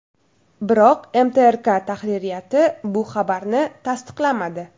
Biroq MTRK tahririyati bu xabarni tasdiqlamadi.